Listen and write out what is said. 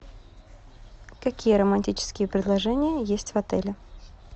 какие романтические предложения есть в отеле